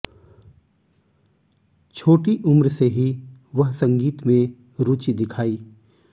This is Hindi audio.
छोटी उम्र से ही वह संगीत में रुचि दिखाई